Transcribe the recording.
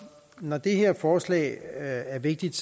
når det her forslag er vigtigt